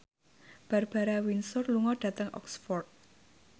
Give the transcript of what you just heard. Barbara Windsor lunga dhateng Oxford